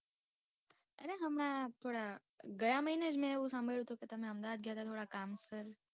અરે હમણા થોડા ગયા મહીને જ મેં એવું સાંભળ્યું હતું કે તમે અમદાવાદ ગયા હતા થોડા કામ સર